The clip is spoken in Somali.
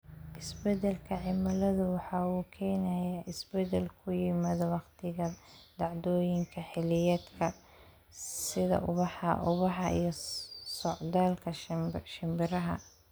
Isbeddelka cimiladu waxa uu keenayaa isbeddel ku yimaada wakhtiga dhacdooyinka xilliyeedka, sida ubaxa ubaxa iyo socdaalka shimbiraha.